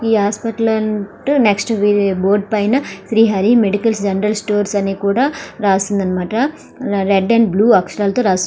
ఈ hospital next board పైన Srihari medical general stores అని కూడా రాసి ఉంది అన్నమాట. రెడ్ అండ్ బ్లూ అక్షరాలతో రాసి ఉంది.